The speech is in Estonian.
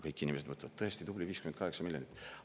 Kõik inimesed mõtlevad, tõesti, tubli 58 miljonit eurot.